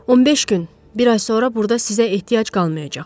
15 gün, bir ay sonra burda sizə ehtiyac qalmayacaq.